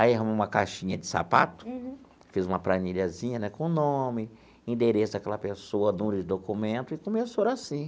Aí arrumo uma caixinha de sapato, fiz uma planilhazinha né com o nome, endereço daquela pessoa, número de documento e começou assim.